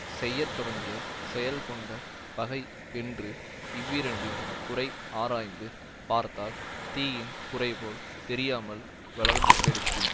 செய்யத்தொடங்கியச் செயல் கொண்ட பகை என்று இவ்விரண்டின் குறை ஆராய்ந்து பார்த்தால் தீயின் குறைபோல் தெரியாமல் வளர்ந்து கெடுக்கும்